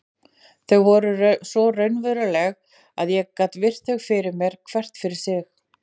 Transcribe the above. Þau voru svo raunveruleg að ég gat virt þau fyrir mér hvert fyrir sig.